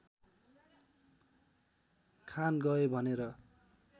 खान गए भनेर